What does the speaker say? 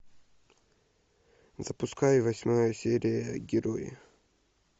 запускай восьмая серия герои